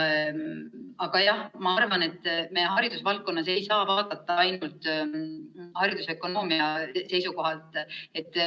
Aga jah, ma arvan, et me haridusvaldkonnas ei saa vaadata ainult haridusökonoomia seisukohalt.